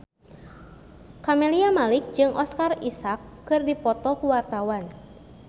Camelia Malik jeung Oscar Isaac keur dipoto ku wartawan